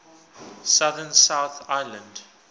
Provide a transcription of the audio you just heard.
southern south island